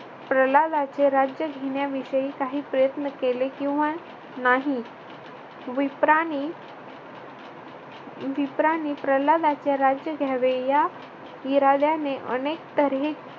प्रल्हादाचे राज्य घेण्याविषयी काही प्रयत्न केले किंवा नाही विप्रानी विप्रानी प्रल्हादाचे राज्य घ्यावे या इराद्याने अनेक तऱ्हे